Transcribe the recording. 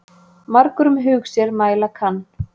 Margur um hug sér mæla kann.